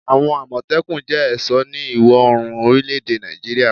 Awon Amotekun jẹ́ ẹ̀sọ́ ní ìwọ̀-orùn orile èdè Nàìjíríà